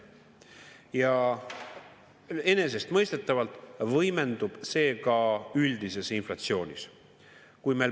Ja enesestmõistetavalt võimendub see ka üldises inflatsioonis.